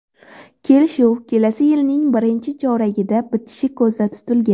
Kelishuv kelasi yilning birinchi choragida bitishi ko‘zda tutilgan.